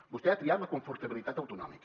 vostè ha triat la confortabilitat autonòmica